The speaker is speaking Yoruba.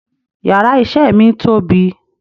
Yàrá isé mi tóbi